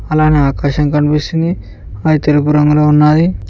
అలానే ఆకాశం కనిపిస్తుంది అది తెలుపు రంగులో ఉన్నాది.